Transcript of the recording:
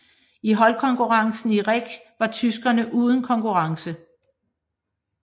I holdkonkurrencen i reck var tyskerne uden konkurrence